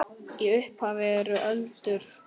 Í upphafi eru öldur.